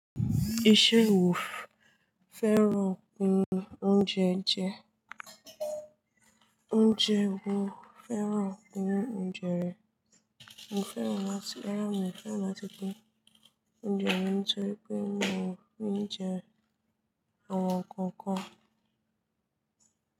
Iṣẹ́ wo fẹ́ràn inú oúnjẹ jẹ? Oúnjẹ wo fẹ́ràn inú oúnjẹ rẹ? Mi ò fẹ́ràn láti rárà mi, mi ò fẹ́ràn láti pin oúnjẹ mi nítorí pé mi ò ní jẹ àwọn nǹkan kan.